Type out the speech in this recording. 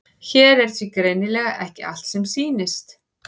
Hér er því greinilega ekki allt sem sýnist.